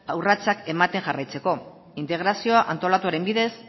urratsak ematen jarraitzeko integrazioa antolatuaren bidez